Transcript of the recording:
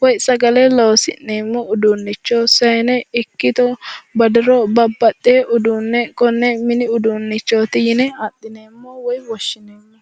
woyi sagale loosi'nemo uduunnicho sayine ikkito badiro babbaxewo uduune konne mini uduunichooti yine adhineemo woyi woshineemo